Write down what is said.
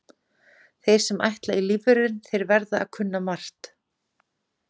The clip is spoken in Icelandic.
Þeir sem ætla í lífvörðinn þeir verða að kunna margt.